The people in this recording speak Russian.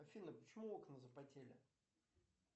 афина почему окна запотели